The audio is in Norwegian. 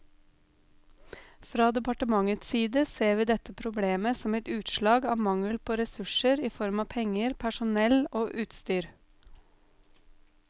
Fra departementets side ser vi dette problemet som et utslag av mangel på ressurser i form av penger, personell og utstyr.